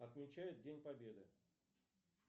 отмечают день победы